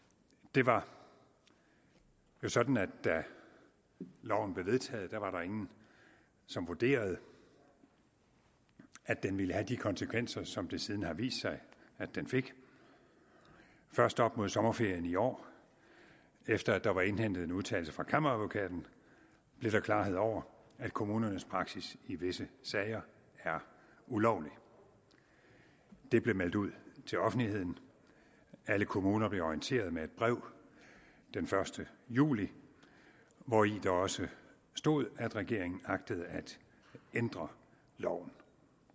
det var jo sådan at da loven blev vedtaget var der ingen som vurderede at den ville have de konsekvenser som det siden har vist sig at den fik først op mod sommerferien i år efter at der var indhentet en udtalelse fra kammeradvokaten blev der klarhed over at kommunernes praksis i visse sager er ulovlig det blev meldt ud til offentligheden alle kommuner blev orienteret med et brev den første juli hvori der også stod at regeringen agtede at ændre loven